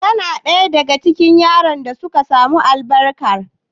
Kana ɗaya daga cikin yaran da suka samu albarkar?